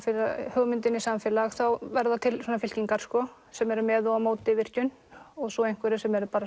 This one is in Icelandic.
hugmynd inn í samfélag þá verða til fylkingar sem eru með og á móti virkjun og svo einhverjir sem eru